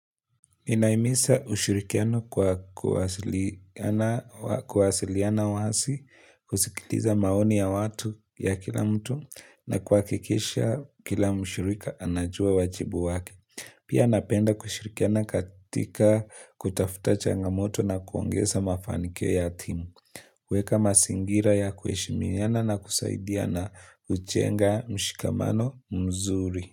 Inahimisa ushirikiano kwa kuwasiliana wasi, kusikiliza maoni ya watu ya kila mtu na kuhakikisha kila mshirika anajua wajibu wake. Pia napenda kushirikiana katika kutafuta changamoto na kuongeza mafanikio ya timu. Kuweka mazingira ya kuheshiminiana na kusaidiana hujenga mshikamano mzuri.